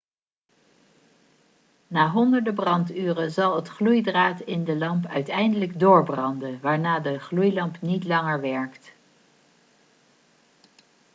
na honderden branduren zal het gloeidraad in de lamp uiteindelijk doorbranden waarna de gloeilamp niet langer werkt